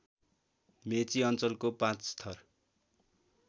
मेची अञ्चलको पाँचथर